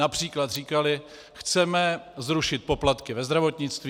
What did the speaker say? Například říkaly: chceme zrušit poplatky ve zdravotnictví.